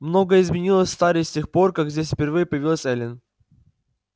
многое изменилось в таре с тех пор как здесь впервые появилась эллин